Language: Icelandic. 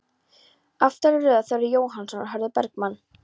Aftari röð: Þórður Jóhannsson, Hörður Bergmann